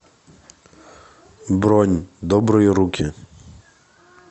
бронь добрые руки